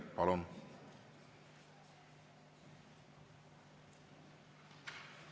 Palun!